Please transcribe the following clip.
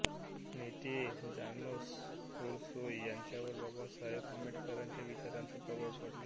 नेते जानोस ओरसोस यांच्यावर डॉ बाबासाहेब आंबेडकरांच्या विचारांचा प्रभाव पडला